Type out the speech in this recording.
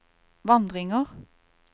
vandringer